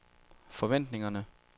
forventningerne